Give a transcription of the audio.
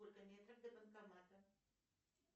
сколько метров до банкомата